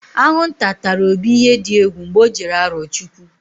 Aṅụnta tara Obi ihe di egwu mgbe ọ jere Arọchụkwụ.